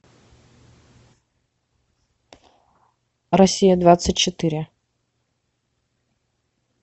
россия двадцать четыре